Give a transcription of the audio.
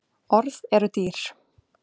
Orð eru dýr